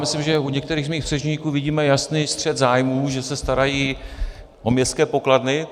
Myslím, že u některých z mých předřečníků vidíme jasný střet zájmů, že se starají o městské pokladny.